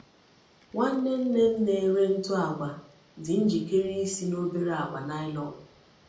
Nwanne nne m na-ere ntụ agwa dị njikere ịsị na obere akpa nylon.